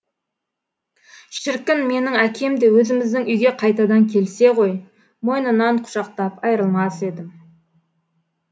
шіркін менің әкем де өзіміздің үйге қайтадан келсе ғой мойнынан құшақтап айырылмас едім